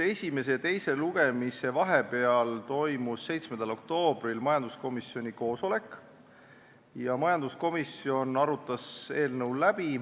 Esimese ja teise lugemise vahel toimus 7. oktoobril majanduskomisjoni koosolek ja majanduskomisjon arutas eelnõu läbi.